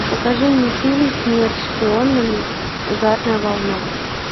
покажи мне фильм смерть шпионам ударная волна